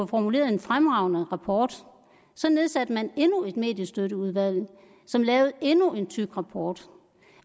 formuleret en fremragende rapport så nedsatte man endnu et mediestøtteudvalg som lavede endnu en tyk rapport